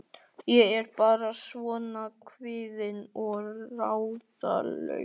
Ég er bara svona kvíðin og ráðalaus.